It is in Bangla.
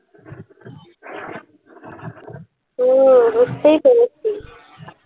ও বুঝতেই পেরেছি